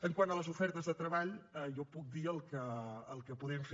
quant a les ofertes de treball jo puc dir el que podem fer